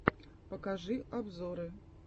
покажи обзоры